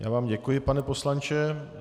Já vám děkuji, pane poslanče.